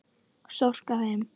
Storka þeim.